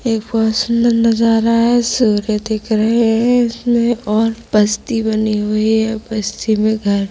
एक बोहोत सुंदर नजारा है सूर्य दिख रहै है इसमें और बस्ती बनी हुई है | बस्ती में घर--